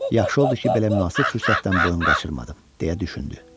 Yaxşı oldu ki, belə münasib fürsətdən boyun qaçırmadım, deyə düşündü.